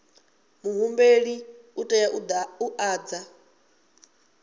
muhumbeli u tea u ḓadza